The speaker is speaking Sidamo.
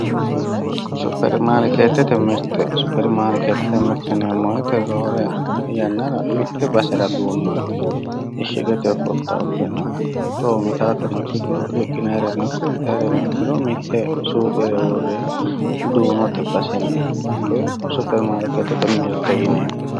Supirimaarkeetete_mirte yineemmo woyte roore yannara mitte basera duunnoyti ishshigetenni fultawotena coommitaawotano ikkito riqqinayreno ikko intayreno ikkiro mitte suuqera worreha duunote basenni hakkoye Supirimaarkeetete_mirte yineemmo